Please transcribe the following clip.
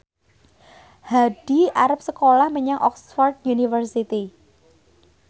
Hadi arep sekolah menyang Oxford university